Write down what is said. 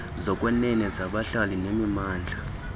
zokwenene zabahlali nemimandla